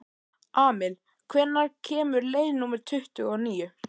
Amil, hvenær kemur leið númer tuttugu og níu?